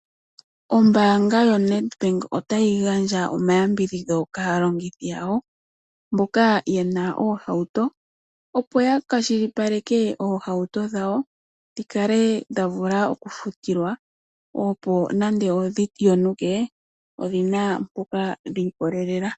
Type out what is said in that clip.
Ombaanga yoNedbank otayi gandja omayambidhidho kaalongithi yawo mboka ye na oohauto, opo ya kwashilipaleke oohauto dhawo dhi kale dha vula okufutilwa, opo nando odhi yonuke odhi na mpoka dhi ikolelela.